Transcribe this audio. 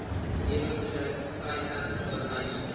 neweproduk vrystelling oorblyfsel